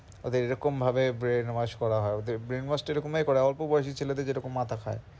ওদের এরাকম ভাবেই brain wash করা হয় ওদের brain wash টা এমন ভাবেই করা অল্প বয়সী ছেলেদের যেরকম মাথা খায়.